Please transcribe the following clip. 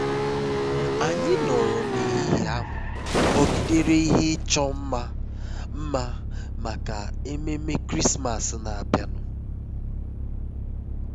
anyị nọrọ n'ehihie ahụ kpọgidere ihe ịchọ mma mma maka ememe krismas na-abịanụ